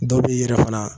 Dɔ b'i yɛrɛ fana